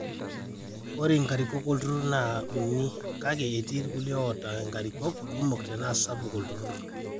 ore inkarikok olturrur nera uni kake etii irkulie oota inkarikok kumok tenaa sapuk olturrur